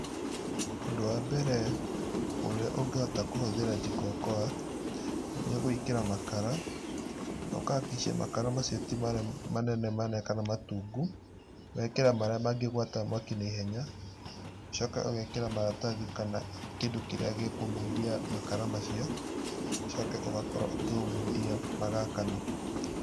Ũndũ wa mbere ũrĩa ũngĩhota kũhũthĩra Jikokoa, nĩ gwĩkĩra makara, na ũkahakikisha makara macio ti marĩa manene manene kana matungu, ũgeekĩra marĩa mangĩgwata mwaki na ihenya, ũcoke ũgeekĩra maratathi kana kĩndũ kĩrĩa gĩkũmundia makara macio, ũcoke ũgakorwo ũkĩmundia, magaakana.